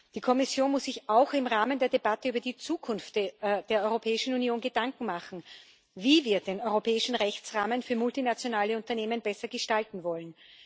Die Kommission muss sich auch im Rahmen der Debatte über die Zukunft der Europäischen Union Gedanken machen, wie wir den europäischen Rechtsrahmen für multinationale Unternehmen besser gestalten wollen.